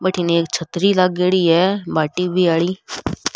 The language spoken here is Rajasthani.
बठीने एक छतरी लागेड़ी है बा टी.वी. आली।